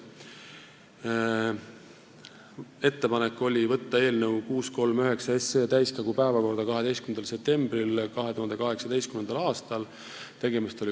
Tehti ettepanek võtta eelnõu 639 täiskogu päevakorda 12. septembril 2018. aastal .